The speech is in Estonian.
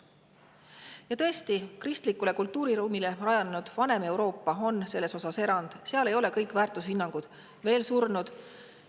Ja tõesti, varem kristlikul kultuuriruumil rajanenud vana Euroopa on selles osas erand: seal ei ole kõik väärtushinnangud veel surnud.